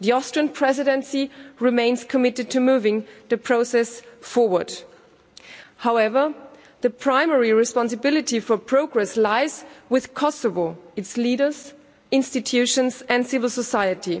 The Austrian Presidency remains committed to moving the process forward. However, the primary responsibility for progress lies with Kosovo, its leaders, institutions and civil society.